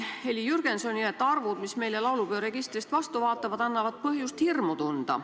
Heli Jürgensoni sõnul annavad arvud, mis meile laulupeo registrist vastu vaatavad, põhjust hirmu tunda.